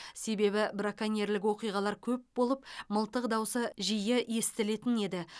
себебі браконьерлік оқиғалар көп болып мылтық даусы жиі естілетін еді